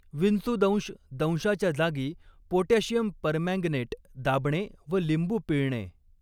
विंचूदंश दंशाच्या जागी potassium permanganate दाबणे व लिंबू पिळणे.